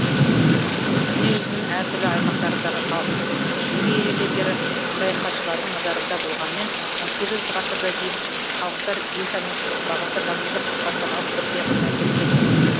дүниежүзінің әр түрлі аймақтарындағы халықтың тыныс тіршілігі ежелден бері саяхатшылардың назарында болғанымен он сегіз ғасырға дейін халықтар елтанушылық бағытта танымдық сипаттамалық түрде ғана зерттелді